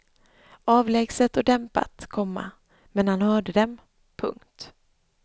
Avlägset och dämpat, komma men han hörde dem. punkt